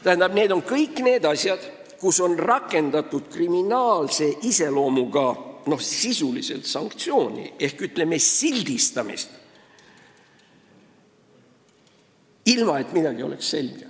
Tähendab, need on kõik asjad, kus on sisuliselt rakendatud kriminaalse iseloomuga sanktsiooni ehk sildistamist, ilma et midagi selge oleks.